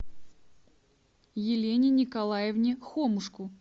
елене николаевне хомушку